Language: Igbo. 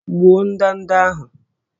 Gbuo ndanda ahụ!